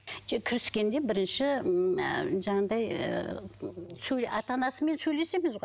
жоқ кіріскенде бірінші ыыы жаңағыдай ыыы ата анасымен сөйлесеміз ғой